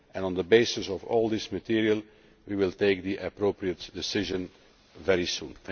it. On the basis of all this material we will take the appropriate decision very soon.